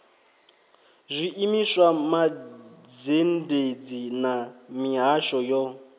zwiimiswa mazhendedzi na mihasho yo